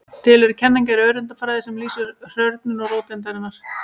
Til eru kenningar í öreindafræði sem lýsa hrörnun róteindarinnar.